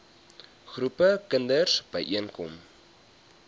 groepe kinders byeenkom